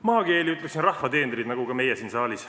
Maakeeli ütleksin, et rahva teenrid, nagu oleme ka meie siin saalis.